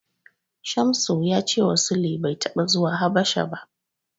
Shamsu ya cewa Sule bai taɓa zuwa Habasha ba.